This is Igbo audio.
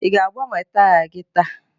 ị ga-agbanwe taya gị taa?